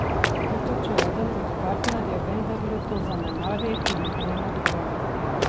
Kaj pa če eden od partnerjev vendarle to zanemari in krene drugam?